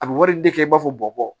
A bɛ wari di kɛ i b'a fɔ bɔn bɔn